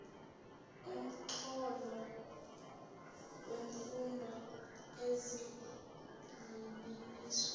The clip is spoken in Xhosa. nomxholo wemfundo zigxininiswa